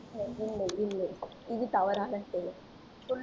இல்லை இல்லை இது தவறான செயல் சொல்லு